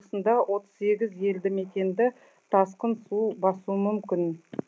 жамбыл облысында отыз сегіз елді мекенді тасқын су басуы мүмкін